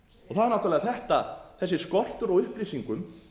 það er náttúrlega þetta þessi skortur á upplýsingum